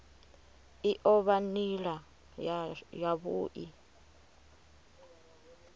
i o vha nila yavhui